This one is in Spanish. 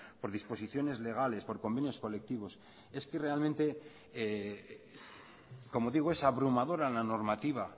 por disposiciones legales por convenios colectivos es que realmente como digo es abrumadora la normativa